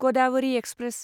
Godavari express